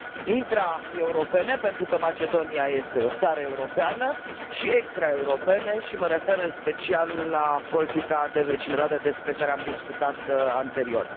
intraeuropene, pentru că Macedonia este o țară europeană, și extraeuropene, și mă refer în special la politica de vecinătate despre care am discutat anterior.